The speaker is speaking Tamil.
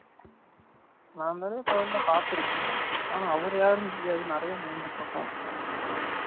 நா தானே கோயில்ல பாத்து இருகேன், ஆனா அவரு யாருனு தெரியாது நிரையா மேய்ன்சிட்டு இருக்கும்